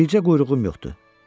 Bircə quyruğum yoxdur.